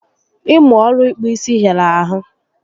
Ịmụ ọrụ ịkpụ isi hịara ahụ